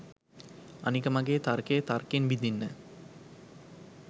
අනික මගේ තර්කය තර්කෙන් බිදින්න